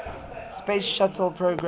space shuttle program